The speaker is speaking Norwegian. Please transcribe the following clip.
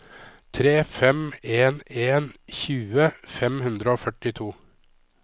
tre fem en en tjue fem hundre og førtito